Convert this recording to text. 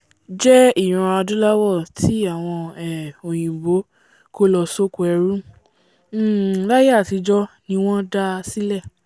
jẹ́ ìran adúláwọ̀ tí àwọn um òyìnbó kó lọ sóko ẹrú um láíyé àtijọ́ ní wọ́n dáa sílẹ̀